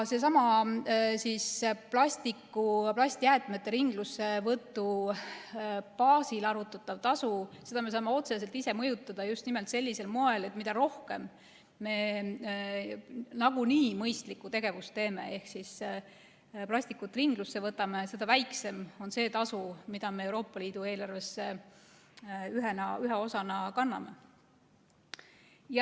Sedasama plastjäätmete ringlussevõtu baasil arvutatavat tasu me saame otseselt ise mõjutada, just nimelt sellisel moel, et mida rohkem me nagunii mõistlikku tegevust teeme ehk plastikut ringlusse võtame, seda väiksem on see tasu, mida me Euroopa Liidu eelarvesse ühe osana kanname.